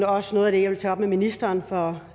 også noget af det jeg vil tage op med ministeren for